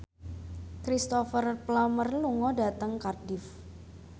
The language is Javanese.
Cristhoper Plumer lunga dhateng Cardiff